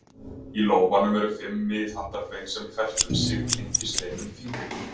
Í lófanum eru fimm miðhandarbein sem hvert um sig tengist einum fingri.